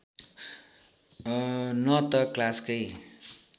न त क्लासकै